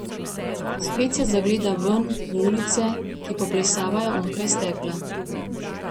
Spet se zagleda ven, v ulice, ki poplesavajo onkraj stekla.